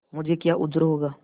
मुझे क्या उज्र होगा